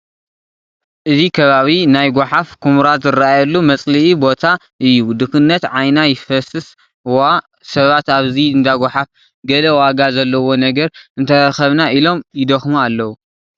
እዚ ከባቢ ናይ ጐሓፍ ኩምራ ዝርአየሉ መፅልኢ ቦታ እዩ፡፡ ድኽነት ዓይና ይፍሰስ ዋ ሰባት ኣብዚ እንዳ ጓሓፍ ገለ ዋጋ ዘለዎ ነገር እንተረኸብና ኢሎም ይደኽሙ ኣለዉ፡፡